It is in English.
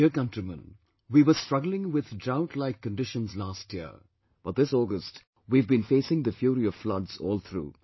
My dear countrymen, we were struggling with droughtlike conditions last year but this August we have been facing the fury of floods all through